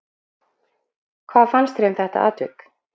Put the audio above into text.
Hvað fannst þér um þetta atvik?